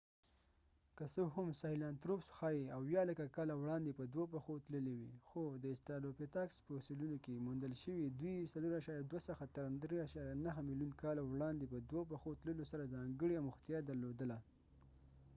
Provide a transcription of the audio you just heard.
که څه هم ساهیلانتروپس ښايي 70 لکه کاله وړاندې په دوو پښو تللي وي خو د استرالوپیتاکس فوسیلونو کې موندل شوي دوی 4.2 څخه تر 3.9 ملیون کاله وړاندې په دوه پښو تللو سره ځانګړې اموختیا درلودله